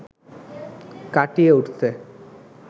কাটিয়ে উঠতে